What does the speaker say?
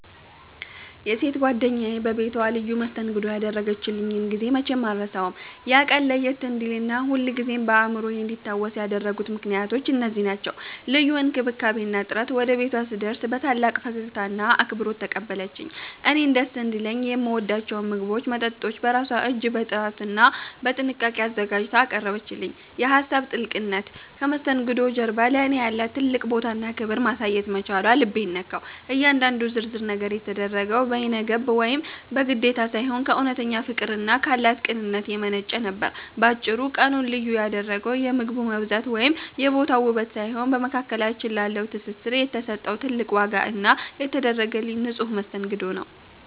የሴት ጓደኛዬ በቤቷ ልዩ መስተንግዶ ያደረገችልኝን ጊዜ መቼም አልረሳውም። ያ ቀን ለየት እንዲልና ሁልጊዜም በአእምሮዬ እንዲታወስ ያደረጉት ምክንያቶች እነዚህ ናቸው፦ ልዩ እንክብካቤ እና ጥረት፦ ወደ ቤቷ ስደርግ በታላቅ ፈገግታና አክብሮት ተቀበለችኝ። እኔን ደስ እንዲለኝ የምወዳቸውን ምግቦችና መጠጦች በራሷ እጅ በጥራትና በጥንቃቄ አዘጋጅታ አቀረበችልኝ። የሀሳብ ጥልቅነት፦ ከመስተንግዶው ጀርባ ለእኔ ያላትን ትልቅ ቦታና ክብር ማሳየት መቻሏ ልቤን ነካው። እያንዳንዱ ዝርዝር ነገር የተደረገው በይነገብ ወይም በግዴታ ሳይሆን፣ ከእውነተኛ ፍቅርና ካላት ቅንነት የመነጨ ነበር። ባጭሩ፤ ቀኑን ልዩ ያደረገው የምግቡ መብዛት ወይም የቦታው ውበት ሳይሆን፣ በመካከላችን ላለው ትስስር የተሰጠው ትልቅ ዋጋ እና የተደረገልኝ ንጹሕ መስተንግዶ ነው።